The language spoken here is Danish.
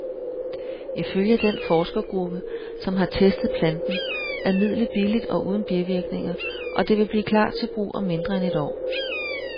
Ifølge den forskergruppe, som har testet planten, er midlet billigt og uden bivirkninger, og det vil klar til brug om mindre end et år.